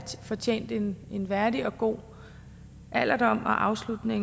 fortjent en værdig og god alderdom og afslutning